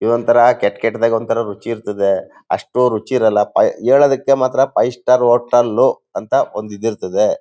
ಇದೊಂತರ ಕೆಟ್ ಕೆಟ್ಟದಾಗಿ ಒಂತರ ರುಚಿ ಇರ್ತದೆ ಅಹ್ತು ರುಚಿ ಇರಲ್ಲ ಪೈ ಹೇಳೋದಕ್ಕೆ ಮಾತ್ರ ಫೈವ್ ಸ್ಟಾರ್ ಹೋಟೆಲ್ ಅಂತ ಒಂದು ಇದಿರ್ತದೆ.